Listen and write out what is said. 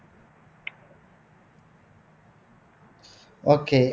okay